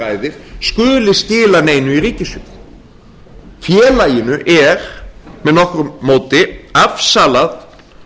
ræðir skuli skila neinu í ríkissjóð félaginu er með nokkru móti afsalað